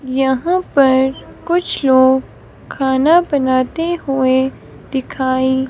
यहां पर कुछ लोग खाना बनाते हुए दिखाई--